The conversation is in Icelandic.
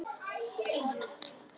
Nýtt líf, kjökraði Ragnhildur.